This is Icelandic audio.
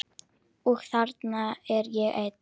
Og þarna er ég enn.